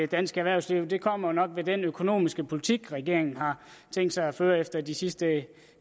dansk erhvervsliv kommer med den økonomiske politik som regeringen har tænkt sig at føre efter de sidste